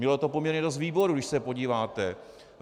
Mělo to poměrně dost výborů, když se podíváte.